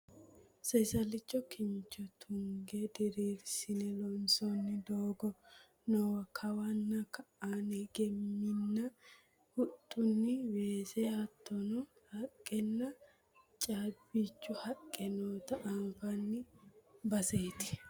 Seesalicho kincho tunge diriirsine loonsoonni doogo noowa kawaanna ka'anni hige minna huxxunna weese hattono haqqenna caabbichu haqqe noota anfanni baseeti